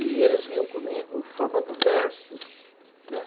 E eles vinham comigo formando versos, né.